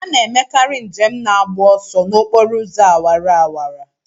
A na-emekarị njem na-agba ọsọ n'okporo ụzọ awara awara.